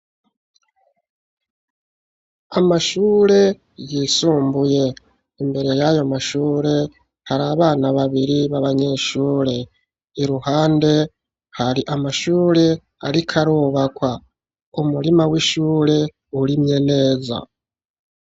Amashure yisumbuye, imbere y'ayo mashure hari abana babiri b'abanyeshure, iruhande hari amashure ariko arubakwa, umurima w'ishure urimye neza.